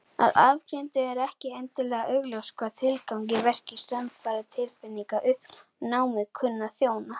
Að ofangreindu er ekki endilega augljóst hvaða tilgangi verkir samfara tilfinningalegu uppnámi kunni að þjóna.